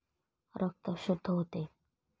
रक्त शुद्ध होते,